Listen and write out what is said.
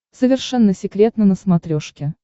совершенно секретно на смотрешке